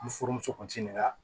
Ni furumuso kun nana